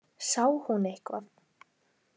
Sá hún eitthvað?